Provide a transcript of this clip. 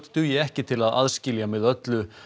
dugi ekki til þess að aðskilja með öllu